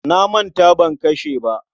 Na manta ban kashe ba.